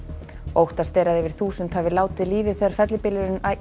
óttast er að yfir þúsund hafi látið lífið þegar fellibylurinn